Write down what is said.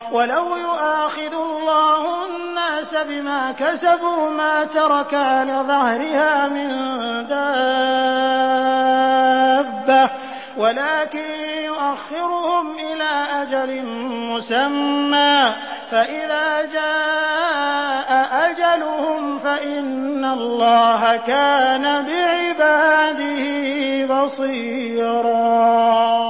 وَلَوْ يُؤَاخِذُ اللَّهُ النَّاسَ بِمَا كَسَبُوا مَا تَرَكَ عَلَىٰ ظَهْرِهَا مِن دَابَّةٍ وَلَٰكِن يُؤَخِّرُهُمْ إِلَىٰ أَجَلٍ مُّسَمًّى ۖ فَإِذَا جَاءَ أَجَلُهُمْ فَإِنَّ اللَّهَ كَانَ بِعِبَادِهِ بَصِيرًا